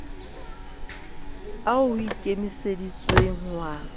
ao ho ikemiseditsweng ho a